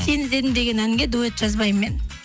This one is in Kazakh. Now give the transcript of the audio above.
сен іздедім деген әнге дуэт жазбаймын мен